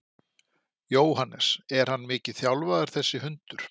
Jóhannes: Er hann mikið þjálfaður þessi hundur?